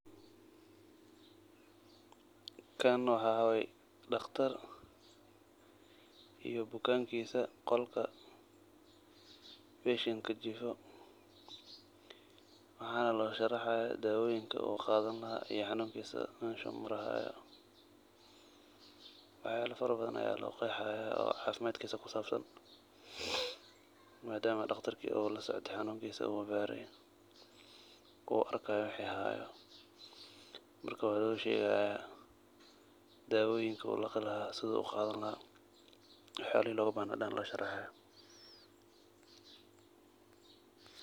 Kan waxa waye daqtar iyo bukankisa oo qolka patient jifa waxana losharaxaya dawoyinka uu qadani laha iyo xanunkisa oo hayo, waxyala fara badan aya loqexi haya oo cafimadkisa kusabsan madama uu daqtarka ulasocde daqtarkisa uu baraye marka waloshegaya dawoyinka uu laqi laha sidu u qadani laha waxayalaha dan loshega.